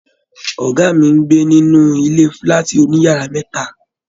Ọgá mí n gbé nínú ilé fúlàátí òníyàrá mẹta.